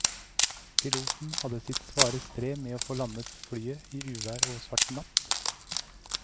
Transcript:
Piloten hadde sitt svare strev med å få landet flyet i uvær og svart natt.